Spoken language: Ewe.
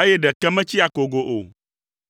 eye ɖeke metsi akogo o.